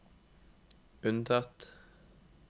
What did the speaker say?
unntatt